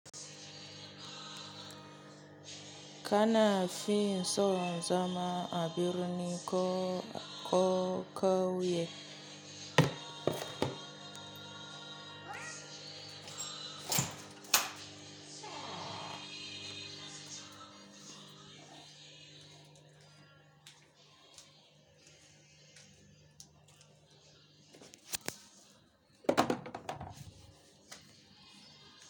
Kana fin so zama abirni ko, ko, ko kauye.